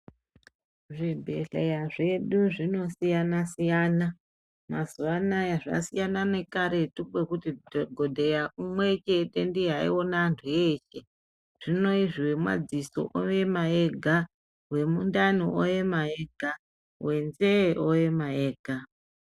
Zvibhedhlera zvedu zvinosiyana siyana mazuwanaya zvasiyana nekaretu kwekuti dhokodheya umwe ndiye waiona antu eshe hino zvinezvi wemadziso oema ega, wemundani oema ega, wenzee oema ega.